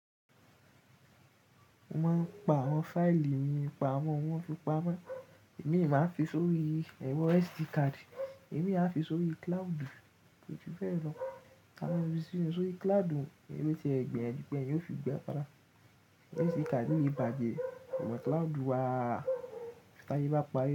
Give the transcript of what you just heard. Mo máa ń pa àwọn fáìlì mi pamọ́, wọ́n fi pamọ́. Èmi máa ń fi sórí ẹ̀rọ SD card, èmi a fi sórí cloud, èyí tún fẹ́ràn lọ. Tani o fi si sórí cloud, irú ẹgbẹ́ ẹni tí ẹni yóò fi gba fará. SD card mi bàjẹ́, ṣùgbọ́n cloud wa, tí a bá pa re.